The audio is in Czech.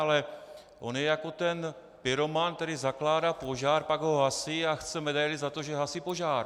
Ale on je jako ten pyroman, který zakládá požár, pak ho hasí a chce medaili za to, že hasí požár.